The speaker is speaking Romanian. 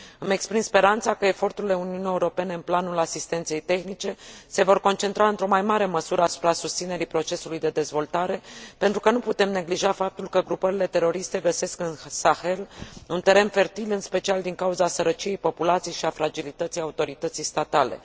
Îmi exprim speranța că eforturile Uniunii Europene în planul asistenței tehnice se vor concentra, într o mai mare măsură, asupra susținerii procesului de dezvoltare, pentru că nu putem neglija faptul că grupările teroriste găsesc în Sahel un teren fertil, în special din cauza sărăciei populației și a fragilității autorității statale.